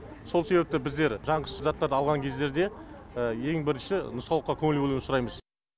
сол себепті біздер жанғыш заттарды алған кездерде ең бірінші нұсқаулыққа көңіл бөлуді сұраймыз